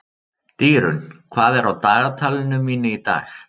Dýrunn, hvað er á dagatalinu mínu í dag?